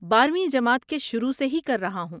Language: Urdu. بارویں جماعت کے شروع سے ہی کر رہا ہوں